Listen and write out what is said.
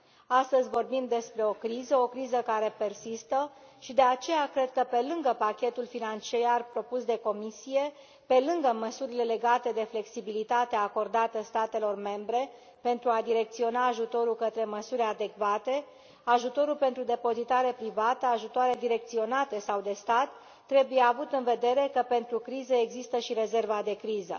Astăzi vorbim despre o criză, o criză care persistă și de aceea cred că, pe lângă pachetul financiar propus de Comisie, pe lângă măsurile legate de flexibilitatea acordată statelor membre pentru a direcționa ajutorul către măsuri adecvate, ajutorul pentru depozitare privată, ajutoare direcționate sau de stat, trebuie avut în vedere că pentru criză există și rezerva de criză.